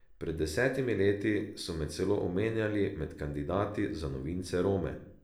Pred desetimi leti so me celo omenjali med kandidati za novince Rome.